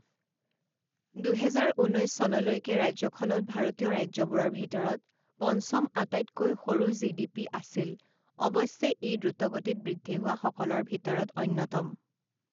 দুহেজাৰ ঊনৈছ চনলৈকে ৰাজ্যখনত ভাৰতীয় ৰাজ্যবোৰৰ ভিতৰত পঞ্চম আটাইতকৈ সৰু জি ডি পি আছিল অৱশ্যে ই দ্ৰুতগতিত বৃদ্ধি হোৱা সকলৰ ভিতৰত অন্যতম।